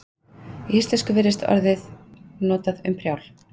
í íslensku virðist orðið notað um prjál